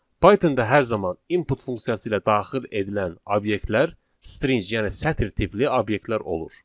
Pythonda hər zaman input funksiyası ilə daxil edilən obyektlər string, yəni sətr tipli obyektlər olur.